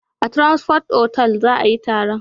A Transcorp otal za a yi taron